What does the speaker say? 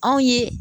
Anw ye